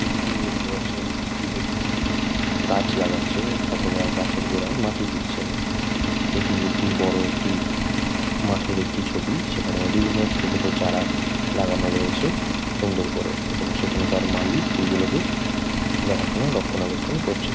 ছবিটিতে দেখতে পারছেন একটি ব্যক্তি গাছ লাগাচ্ছেন অথবা গাছের গোড়ায় মাটি দিচ্ছেন এটি একটি বড়ো একটি মাঠের একটি ছবি সেখানে বিভিন্ন ছোট ছোট চারা লাগানো রয়েছে সুন্দর করে এবং সেখানকার মালি সেই গুলোকে দেখাশুনা রক্ষনাবেক্ষন করছেন।